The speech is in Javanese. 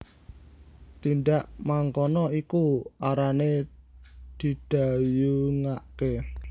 Tindak mangkono iku arane didhayungake